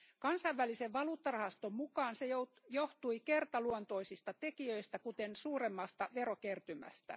Kansainvälisen valuuttarahaston mukaan se johtui kertaluontoisista tekijöistä, kuten suuremmasta verokertymästä.